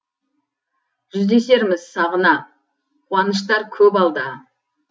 жүздесерміз сағына қуаныштар көп алда